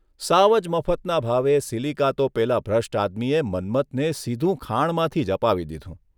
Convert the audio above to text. સાવ જ મફતના ભાવે સીલીકા તો પેલા ભ્રષ્ટ આદમીએ મન્મથને સીધું ખાણમાંથી જ અપાવી દીધું.